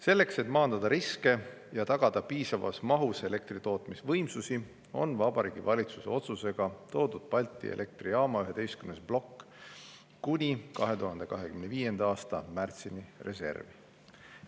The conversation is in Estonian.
Selleks, et maandada riske ja tagada piisavas mahus elektritootmisvõimsusi, on Vabariigi Valitsuse otsusega toodud Balti Elektrijaama 11. plokk kuni 2025. aasta märtsini reservi.